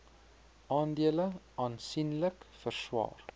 aandele aansienlik verswaar